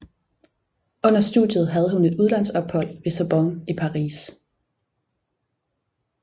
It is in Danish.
Under studiet havde hun et udlandsophold ved Sorbonne i Paris